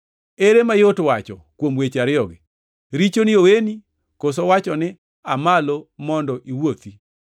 Ere mayot wacho kuom weche ariyogi, ‘Richoni oweni,’ koso wacho ni, ‘Aa malo mondo iwuothi’?